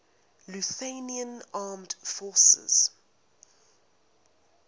lithuanian armed forces